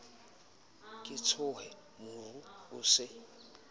ke tshohe moru o se